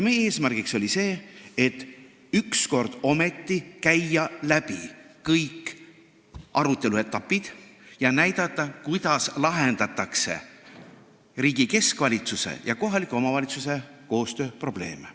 Meie eesmärk oli see, et ükskord ometi käia läbi kõik arutelu etapid ja näidata, kuidas lahendatakse riigi keskvalitsuse ja kohaliku omavalitsuse koostöö probleeme.